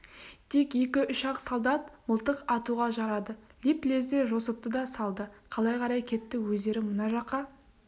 тек екі-үш-ақ солдат мылтық атуға жарады леп-лезде жосытты да салды қалай қарай кетті өздері мына жаққа